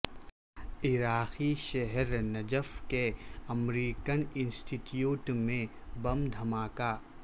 عراقی شہر نجف کے امریکن انسٹیٹیوٹ میں بم دھماکہ